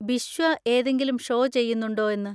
ബിശ്വ ഏതെങ്കിലും ഷോ ചെയ്യുന്നുണ്ടോ എന്ന്.